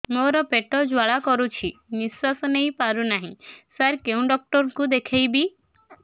ମୋର ପେଟ ଜ୍ୱାଳା କରୁଛି ନିଶ୍ୱାସ ନେଇ ପାରୁନାହିଁ ସାର କେଉଁ ଡକ୍ଟର କୁ ଦେଖାଇବି